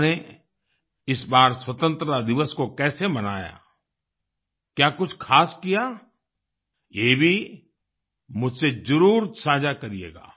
आपने इस बार स्वतंत्रता दिवस को कैसे मनाया क्या कुछ खास किया ये भी मुझसे जरुर साझा करिएगा